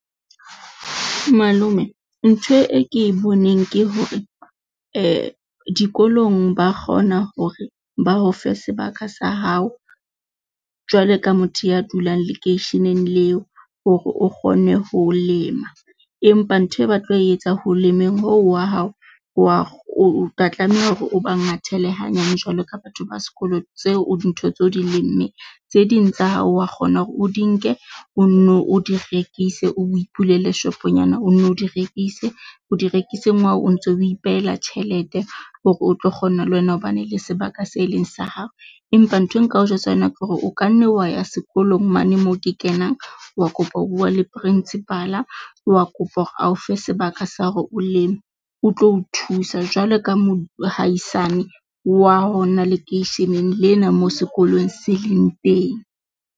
Malome ntho e ke boneng ke hore dikolong ba kgona hore ba o fe sebaka sa hao, jwalo ka motho ya dulang lekeisheneng leo hore o kgone ho lema, empa ntho e ba tlo etsa ho lemeng ho wa hao, wa o tla tlameha hore o ba ngwathele hanyane jwalo ka batho ba sekolo tseo dintho tseo o di lemmeng. Tse ding tsa hao wa kgona hore o di nke o nno o di rekise o ipulele shop-onyana, o nno o di rekise, ho di rekiseng ha hao o ntso ipehela tjhelete hore o tlo kgona le wena ho bane le sebaka se leng sa hao. Empa nthwe nka o jwetsa yona ke hore o kanne wa ya sekolong mane moo ke kenang, wa kopa ho bua le principal-a wa kopa hore a o fe sebaka sa hore o leme, o tlo o thusa jwalo ka mohaisane wa hona lekeisheneng lena moo sekolong se leng teng.